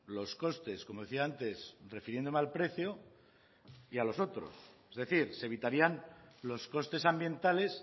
los costes como decía antes refiriéndome al precio y a los otros es decir se evitarían los costes ambientales